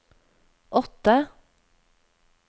åtte